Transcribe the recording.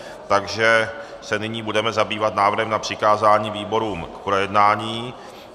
Takže se nyní budeme zabývat návrhem na přikázání výborům k projednání.